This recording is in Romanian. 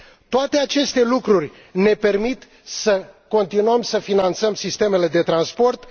Toate aceste lucruri ne permit să continuăm să finanțăm sistemele de transport.